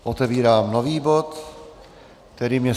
Otevírám nový bod, kterým je